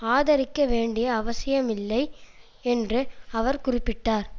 ஆதரிக்க வேண்டிய அவசியமில்லை என்று அவர் குறிப்பிட்டார்